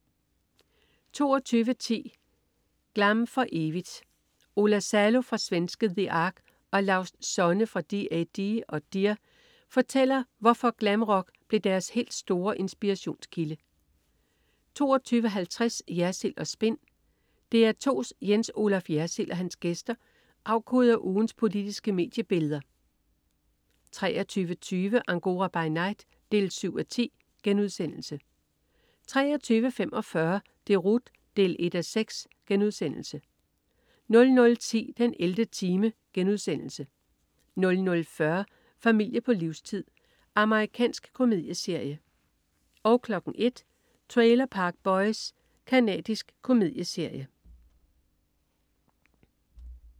22.10 Glam for evigt. Ola Salo fra svenske The Ark og Laust Sonne fra D-A-D og Dear, fortæller, hvorfor glamrock blev deres helt store inspirationskilde 22.50 Jersild & Spin. DR2's Jens Olaf Jersild og hans gæster afkoder ugens politiske mediebilleder 23.20 Angora by night 7:10* 23.45 Deroute 1:6* 00.10 den 11. time* 00.40 Familie på livstid. Amerikansk komedieserie 01.00 Trailer Park Boys. Canadisk komedieserie